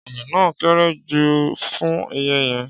Ọ̀gẹ̀dẹ̀ náà kéré jù fún iye yẹn.